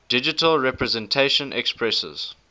digital representation expresses